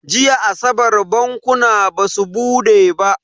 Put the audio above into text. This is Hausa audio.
Jiya asabar bankuna basu bude ba.